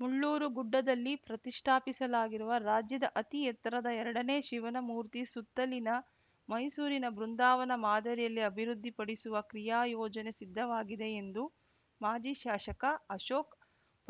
ಮುಳ್ಳೂರು ಗುಡ್ಡದಲ್ಲಿ ಪ್ರತಿಷ್ಠಾಪಿಸಲಾಗಿರುವ ರಾಜ್ಯದ ಅತಿ ಎತ್ತರದ ಎರಡನೇ ಶಿವನಮೂರ್ತಿ ಸುತ್ತಲಿನ ಮೈಸೂರಿನ ಬೃಂದಾವನ ಮಾದರಿಯಲ್ಲಿ ಅಭಿವೃದ್ಧಿ ಪಡಿಸುವ ಕ್ರೀಯಾಯೋಜನೆ ಸಿದ್ಧವಾಗಿದೆ ಎಂದು ಮಾಜಿ ಶಾಸಕ ಅಶೋಕ್